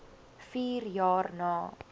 vier jaar na